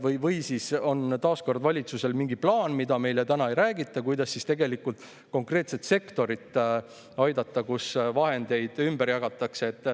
Või siis on valitsusel taas mingi plaan, millest meile täna ei räägita, kuidas aidata konkreetset sektorit, kus vahendeid ümber jagatakse.